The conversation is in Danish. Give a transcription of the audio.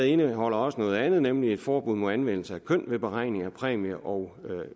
indeholder også noget andet nemlig et forbud mod anvendelse af køn ved beregning af præmier og